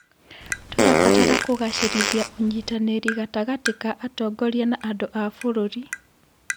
Tũrabatara kũgacĩrithia ũnyitanĩri gatagatĩ ka atongoria na andũ a bũrũri.